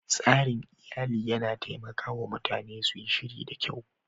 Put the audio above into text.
tsarin iyali yana taimaka wa mutane su yi shiri da kyau